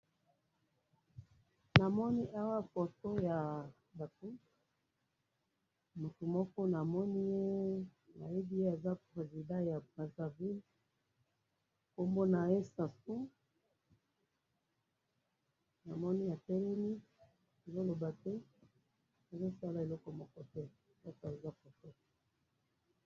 namoni awa foto ya batu mutu mojko namoniye nayebye aza president ya congo brazaville kombo naye sassou namoni atelemi azo loba te atelemi azosala eloko mokote